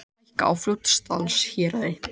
Gjöld hækka á Fljótsdalshéraði